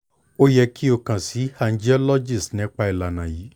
o yẹ ki o kan si angiologist nipa ilana yii